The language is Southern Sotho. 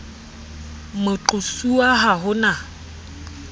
moqo suwa ha ho na